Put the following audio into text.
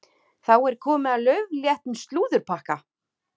Þá er komið að laufléttum slúðurpakka.